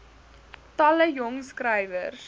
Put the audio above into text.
talle jong skrywers